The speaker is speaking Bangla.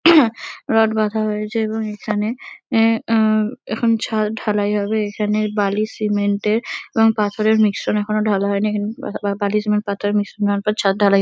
রড বাঁধা হয়েছে এবং এখানে এ আ এখন ছাদ ঢালাই হবে এখানে বালি সিমেন্ট -এর এবং পাথরের মিশ্রণ এখনো ঢালা হয় নি এখানে পা-পা বা-বালি সিমেন্ট পাথরের মিশ্রণ হওয়ার পর ছাদ ঢালাই --